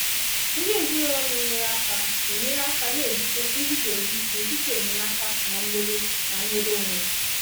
ndị ezinaụlọ na-enyere aka na-enyekarị aka na-ebute nguzozi n'etiti enyemaka na nnwere na nnwere onwe.